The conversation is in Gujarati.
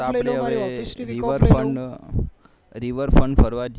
અપને હવે river front ફરવા જઈએ